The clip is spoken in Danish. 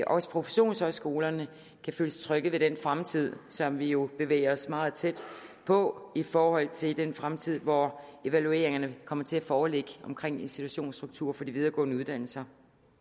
også professionshøjskolerne kan føle sig trygge ved den fremtid som vi jo bevæger os meget tæt på i forhold til den fremtid hvor evalueringerne kommer til at foreligge omkring institutionsstrukturen for de videregående uddannelser